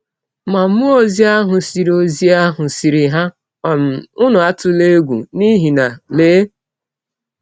Ma mmụọ ọzi ahụ sịrị ọzi ahụ sịrị ha: ‘ um Ụnụ atụla egwụ, n’ihi na, lee!